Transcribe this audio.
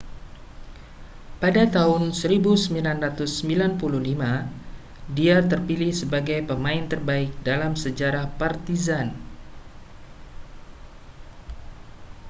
pada tahun 1995 dia terpilih sebagai pemain terbaik dalam sejarah partizan